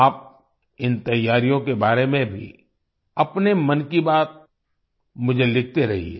आप इन तैयारियों के बारे में भी अपने मन की बात मुझे लिखते रहिए